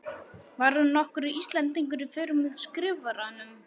Var nokkur Íslendingur í för með Skrifaranum?